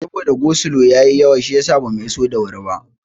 Saboda go slo ya yi yawa shiyasa bamu iso da wuri ba.